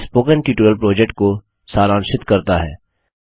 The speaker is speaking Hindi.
यह स्पोकन ट्यटोरियल प्रोजेक्ट को सारांशित करता है